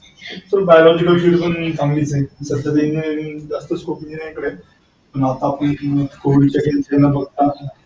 biological field पण चांगली च आहे engineering जास्त स्कोप engineering कडे आहे. आता आपण बघता.